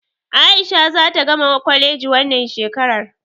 A'isha zata gama kwaleji wannan shekarar.